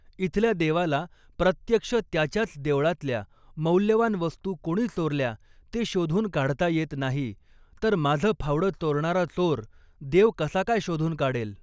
इथल्या देवाला प्रत्यक्ष त्याच्याच देवळातल्या मौल्यवान वस्तू कोणी चोरल्या ते शोधून काढता येत नाही, तर माझं फावडं चोरणारा चोर, देव कसा काय शोधून काढेल?